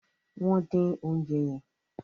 wón din oúnjẹ yen.